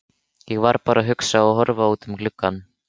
Ég var bara að hugsa og horfa út um gluggann.